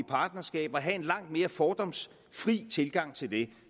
partnerskaber og have en langt mere fordomsfri tilgang til det